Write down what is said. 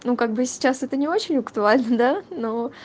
ну как бы сейчас это не очень актуально да но